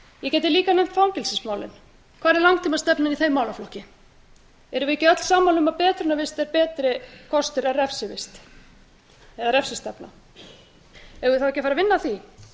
nefnt fangelsismálin hvar er langtímastefnan í þeim málaflokki erum við ekki öll sammála um að betrunarvist er betri kostur en refsivist eða refsistefna eigum við þá ekki að fara að vinna að því